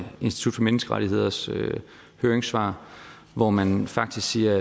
institut for menneskerettigheders høringssvar hvor man faktisk siger